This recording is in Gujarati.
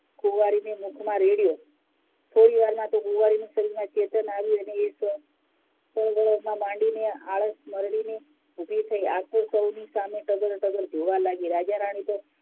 કુંવરીના મુખ માં રેડ્યું થોડી વાર માં કુંવરીનાં શરીરમાં તો ચેતન આવું અને એ આળસ મરડીને બધા સામે ટગર ટગર જોવા લાગી રાજા રાની તો